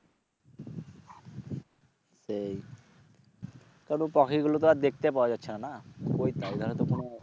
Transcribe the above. সেই তা পাখিগুলো তো আর দেখতে পাওয়া যাচ্ছে না